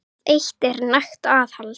Það eitt er nægt aðhald.